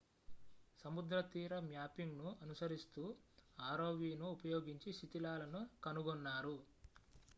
సముద్రతీర మ్యాపింగ్‌ను అనుసరిస్తూ rovను ఉపయోగించి శిథిలాలను కనుగొన్నారు